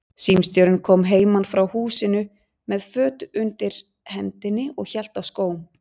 Símstjórinn kom heiman frá húsinu með föt undir hendinni og hélt á skóm.